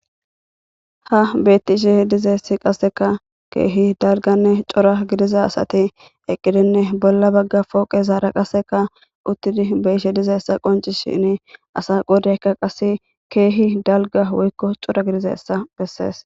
ha beetti isheh dizeessi qasseka keehi dalganne cora gidiza asati eqqidinne bolla bagga pooqe zaara qaseka uttidi beyishe dizaessa qoncishini asa godeyka qase keehi dalga woykko cora gidiza essa bessees